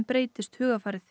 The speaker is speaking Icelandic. breytist hugarfarið